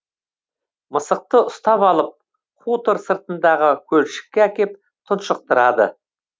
мысықты ұстап алып хутор сыртындағы көлшікке әкеп тұншықтырады